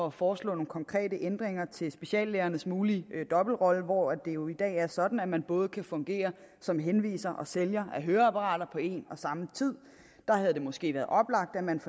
at foreslå nogle konkrete ændringer til speciallægernes mulige dobbeltrolle hvor det jo i dag er sådan at man både kan fungere som henviser og sælger af høreapparater på en og samme tid der havde det måske været oplagt at man